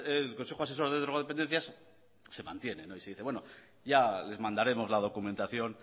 el consejo asesor de drogodependencias se mantiene y se dice que ya les mandaremos la documentación